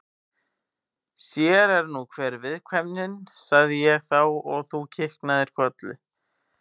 Sér er nú hver viðkvæmnin, sagði ég þá og þú kinkaðir kolli, Rósa.